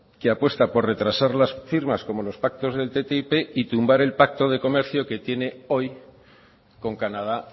que apuesta por retrasar las firmas como los pactos del ttip y tumbar el pacto de comercio que tiene hoy con canadá